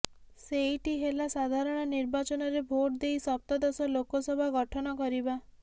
ସେଇଟି ହେଲା ସାଧାରଣ ନିର୍ବାଚନରେ ଭୋଟ ଦେଇ ସପ୍ତଦଶ ଲୋକସଭା ଗଠନ କରିବା